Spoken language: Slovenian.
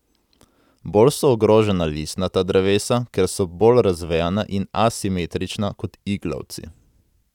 Bolj so ogrožena listnata drevesa, ker so bolj razvejena in asimetrična kot iglavci.